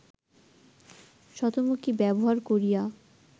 শতমুখী ব্যবহার করিয়া